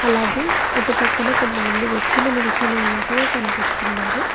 అలాగే అటుపక్కన కొంతమంది వ్యక్తులు నిల్చని ఉన్నట్టుగా కనిపిస్తున్నారు.